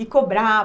E cobrava.